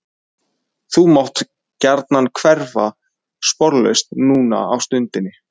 Þú mátt gjarnan hverfa sporlaust núna á stundinni.